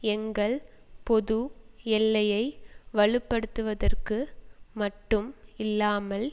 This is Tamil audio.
எங்கள் பொது எல்லையை வலு படுத்துவதற்கு மட்டும் இல்லாமல்